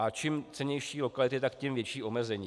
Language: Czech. A čím cennější lokality, tak tím větší omezení.